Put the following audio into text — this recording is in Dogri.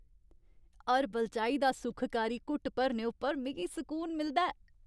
हर्बल चाही दा सुखकारी घुट्ट भरने उप्पर मिगी सकून मिलदा ऐ।